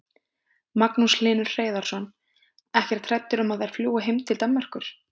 Magnús Hlynur Hreiðarsson: Ekkert hræddur um að þær fljúgi heim til Danmerkur?